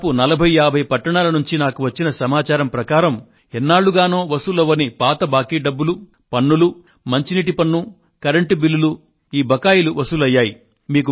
దాదాపు 45 50 పట్టణాల నుండి నాకు వచ్చిన సమాచారం ప్రకారం ఎన్నాళ్ళుగానో వసూలు కాని పాత బాకీ డబ్బు పన్నులు మంచినీటి పన్ను కరెంటు బిల్లుల బకాయిలు వసూలయ్యాయి